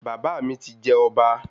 Bàbá mi ti jẹ ọba